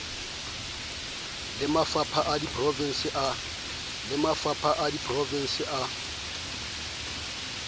le mafapha a diprovense a